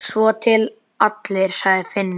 Svo til allir, sagði Finnur.